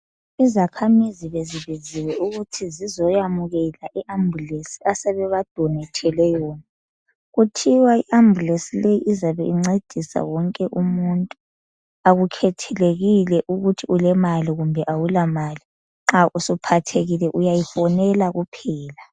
Izakhamizi bezibiziwe ukuthi zizoyamukela i-ambulesi asebebadonethele yona. Kuthiwa iambulesi le iylzabe incedisa wonke umuntu. Akukhethelekile, ukuthi ulemali, kumbe awulamali. Nxa usuphathekile, uyayifonela kuphela.